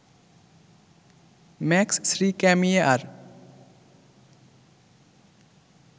max শ্রীক্যামিয়ে আর